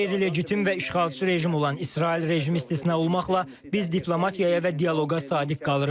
Qeyri-legitim və işğalçı rejim olan İsrail rejimi istisna olmaqla biz diplomatiyaya və dialoqa sadiq qalırıq.